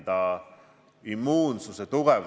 Valdo Randpere, palun!